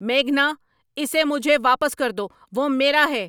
میگھنا، اسے مجھے واپس کر دو۔ وہ میرا ہے!